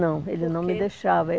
Não, ele não me deixava. Por que?